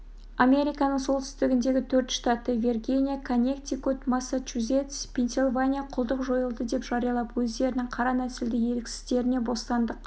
американың солтүстігіндегі төрт штаты виргиния коннектикут массачузетс пенсильвания құлдық жойылды деп жариялап өздерінің қара нәсілді еріксіздеріне бостандық